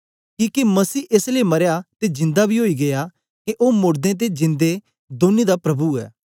किके मसीह एस लेई मरया ते जिंदा बी ओया के ओ मोड़दें ते जिंदे दौनी दा प्रभु ऐ